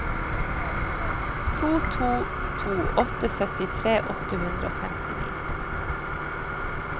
to to to åtte syttitre åtte hundre og femtini